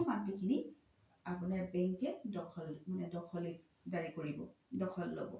সেই মাতি খিনি আপোনাৰ bank কে দ্খল দাৰি কৰিব দ্খল ল্'ব